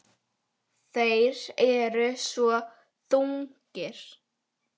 Þeir eru svo þungir.